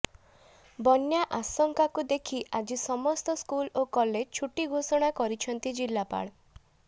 ବନ୍ୟା ଆଶଙ୍କାକୁ ଦେଖି ଆଜି ସମସ୍ତ ସ୍କୁଲ ଓ କଲେଜ ଛୁଟି ଘୋଷଣା କରିଛନ୍ତି ଜିଲ୍ଲାପାଳ